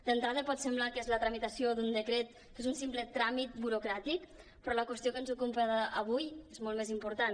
d’entrada pot semblar que és la tramitació d’un decret que és un simple tràmit burocràtic però la qüestió que ens ocupa avui és molt més important